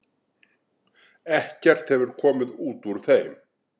Ekkert hefur komið út úr þeim.